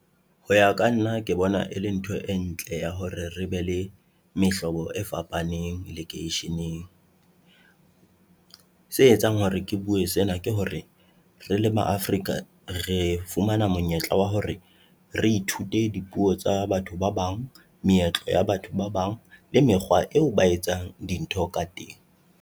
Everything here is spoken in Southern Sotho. Ho ya ka nna, ke bona e le ntho e ntle ya hore re be le mehlobo e fapaneng lekeisheneng. Se etsang hore ke bue sena ke hore, re le Ma-Afrika re fumana monyetla wa hore re ithute dipuo tsa batho ba bang, meetlo ya batho ba bang le mekgwa eo ba etsang dintho ka teng.